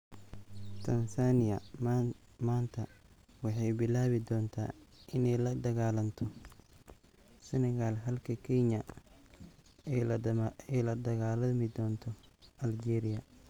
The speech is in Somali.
Tansaaniya maanta waxay bilaabi doontaa inay la dagaalanto Senegal halka Kenya ay la dagaalami doonto Algeria.